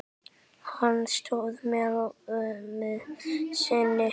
Hann stóð með ömmu sinni.